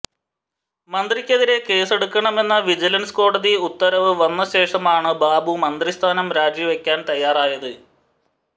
മന്ത്രിക്കെതിരെ കേസ്സെടുക്കണമെന്ന വിജിലന്സ് കോടതി ഉത്തരവ് വന്നശേഷമാണ് ബാബു മന്ത്രിസ്ഥാനം രാജിവയ്ക്കാന് തയ്യാറായത്